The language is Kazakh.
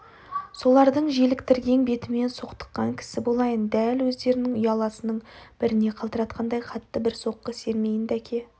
солардың желіктіргең бетімен соқтыққан кісі болайын дәл оздерінің ұяласының біріне қалтыратқандай қатты бір соққы сермейін дәке